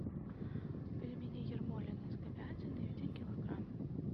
пельмени ермолино с говядиной один килограмм